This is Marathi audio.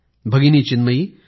भगिनी चिन्मयी